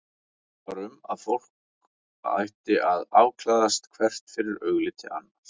Það var um að fólk ætti að afklæðast hvert fyrir augliti annars.